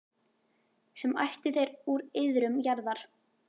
sem ættuð er úr iðrum jarðar.